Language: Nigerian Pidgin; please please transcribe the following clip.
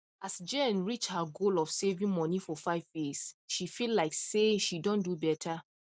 as jane reach her goal of saving money for 5 years she feel like say she don do better